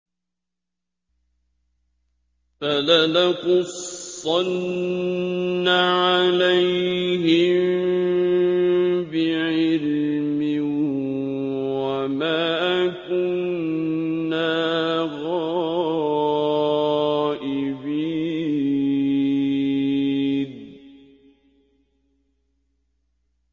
فَلَنَقُصَّنَّ عَلَيْهِم بِعِلْمٍ ۖ وَمَا كُنَّا غَائِبِينَ